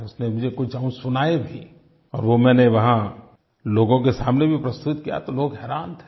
उसने मुझे कुछ अंश सुनाए भी और वो मैंने वहाँ लोगों के सामने भी प्रस्तुत किया तो लोग हैरान थे